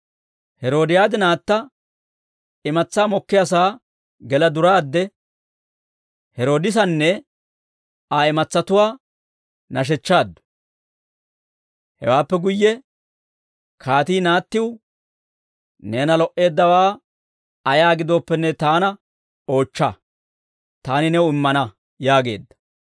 Heroodiyaadi naatta imatsaa mokkiyaasaa gela duraadde, Heroodisanne Aa imatsatuwaa nashechchaaddu; Hewaappe guyye kaatii naattiw, «Neena lo"eeddawaa ayaa gidooppenne taana oochcha; taani new immana» yaageedda.